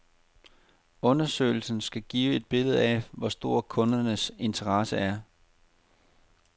Undersøgelsen skal give et billede af, hvor stor kundernes interesse er.